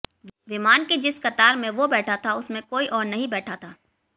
विमान के जिस कतार में वो बैठा था उसमें कोई और नहीं बैठा था